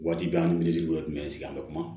Waati bɛɛ an ni tun bɛ sigi an bɛ kuma